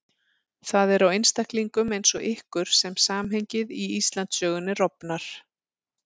Það er á einstaklingum eins og ykkur sem samhengið í Íslandssögunni rofnar.